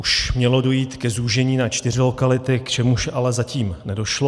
Už mělo dojít k zúžení na čtyři lokality, k čemuž ale zatím nedošlo.